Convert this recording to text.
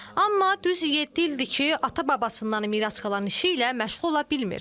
Amma düz yeddi ildir ki, ata-babasından miras qalan işi ilə məşğul ola bilmir.